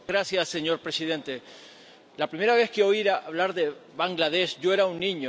Señor presidente, la primera vez que oí hablar de Bangladés, yo era un niño.